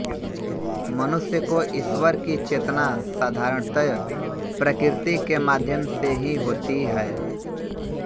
मनुष्य को इश्वर की चेतना साधारणतय प्रकृति के माध्यम से ही होती है